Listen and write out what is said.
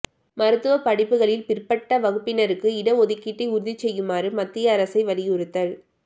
மைருத்துவ படிப்புகளில் பிற்பட்ட வகுப்பினருக்கு இடஒதுக்கீட்டை உறுதி செய்யுமாறு மத்திய அரசை வலியுறுத்தல்